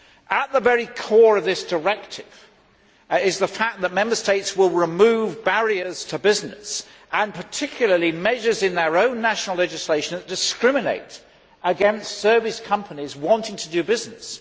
At the very core of this directive is the fact that Member States will remove barriers to business and, in particular, measures in their own national legislation that discriminate against service companies who want to do business.